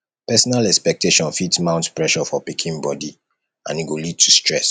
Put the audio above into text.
parental expectation fit mount pressure for pikin body and e go lead to stress